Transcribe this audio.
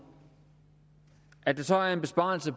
at der så er en besparelse